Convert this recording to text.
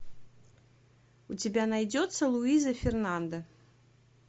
у тебя найдется луиза фернанда